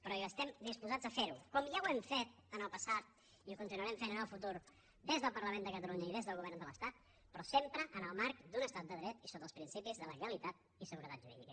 però estem disposats a ferho com ja ho hem fet en el passat i ho continuarem fent en el futur des del parlament de catalunya i des del govern de l’estat sempre en el marc d’un estat de dret i sota els principis de legalitat i seguretat jurídica